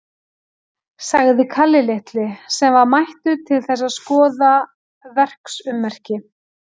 sagði Kalli litli, sem var mættur til þess að skoða verksummerki.